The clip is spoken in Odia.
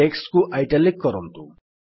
ଟେକ୍ସଟ୍ କୁ ଇଟାଲିକ୍ କରନ୍ତୁ